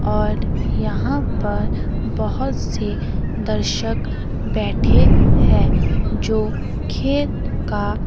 और यहां पर बहोत से दर्शक बैठे हैं जो खेत का--